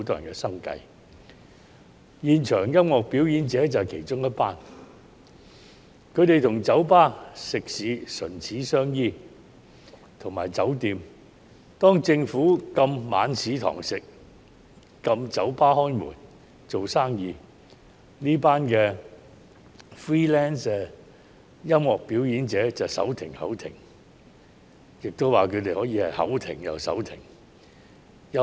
他們與酒吧、食肆和酒店唇齒相依，當政府禁止晚市堂食及禁止酒吧營業時，這群 freelance 音樂表演者便手停口停或口停手停。